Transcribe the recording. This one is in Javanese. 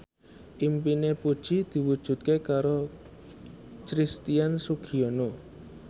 impine Puji diwujudke karo Christian Sugiono